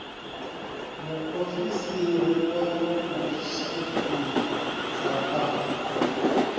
muofisiri wa u tshimbidza a